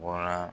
Bɔra